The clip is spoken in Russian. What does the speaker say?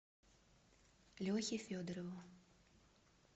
лехе федорову